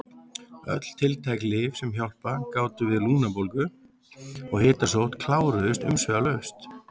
Öll tiltæk lyf sem hjálpað gátu við lungnabólgu og hitasótt kláruðust umsvifalaust.